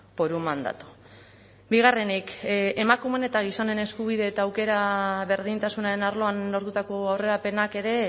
por un mandato bigarrenik emakumeen eta gizonen eskubide eta aukera berdintasunaren arloan lortutako aurrerapenak ere